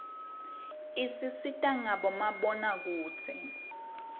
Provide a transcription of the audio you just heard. isisita ngabo mabonakudze